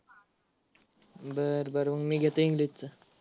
बर बर मग मी घेतो English च.